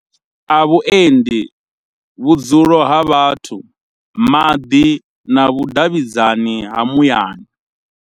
A vhuendi, vhudzulo ha vhathu, maḓi na vhudavhidzani ha muyani.